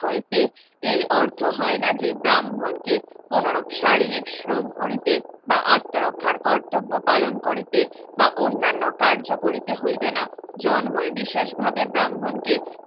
হইতে এই অর্থ হয় না যে ব্রাহ্মণকে অনুরূপ শারীরিক শ্রম করিতে বা আত্মরক্ষার কর্তব্য পালন করিতে বা অন্যান্য কার্য করিতে হইবে না জন্মই বিশেষভাবে ব্রাহ্মণকে